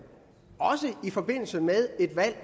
og også i forbindelse med et valg